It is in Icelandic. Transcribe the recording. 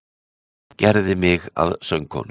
Gerði mig að sögukonu.